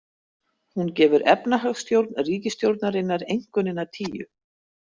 Hún gefur efnahagsstjórn ríkisstjórnarinnar einkunnina tíu.